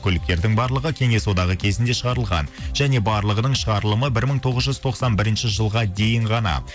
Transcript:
көліктердің барлығы кеңес одағы кезінде шығарлыған және барлығының шығарылымы бір мың тоғыз жүз тоқсан бірінші жылға дейін ғана